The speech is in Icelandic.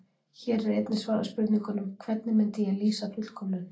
Hér er einnig svarað spurningunum: Hvernig myndi ég lýsa fullkomnun?